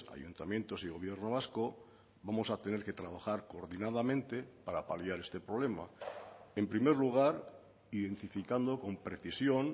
ayuntamientos y gobierno vasco vamos a tener que trabajar coordinadamente para paliar este problema en primer lugar identificando con precisión